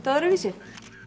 öðruvísi